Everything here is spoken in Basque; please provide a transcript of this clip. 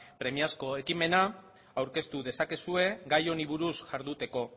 premiazko ekimena aurkeztu dezakezue gai honi buruz jarduteko